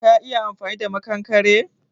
Ka San yanda ake amfani da maƙankare?